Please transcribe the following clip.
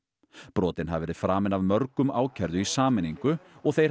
brotin hafi verið framin af mörgum ákærðu í sameiningu og þeir